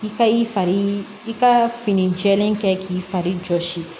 I ka i fari i ka fini jɛlen kɛ k'i fari jɔsi